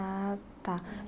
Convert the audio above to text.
Ah, tá.